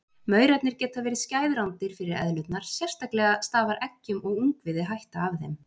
Maurarnir geta verið skæð rándýr fyrir eðlurnar, sérstaklega stafar eggjum og ungviði hætta af þeim.